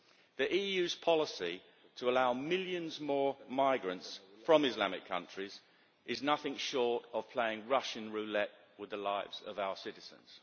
The EU's policy to allow millions more migrants from Islamic countries is nothing short of playing Russian roulette with the lives of our citizens.